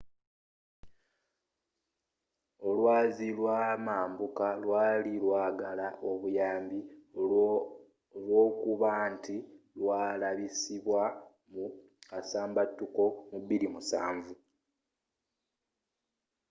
olwazi lwamambuka lwali lwagala obuyambi olwokubanti lwalabisibwa mu kasambatuko mu 2007